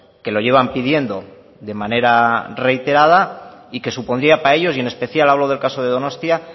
que lo llevan pidiendo de manera reiterada y que supondría para ellos y en especial hablo del caso de donostia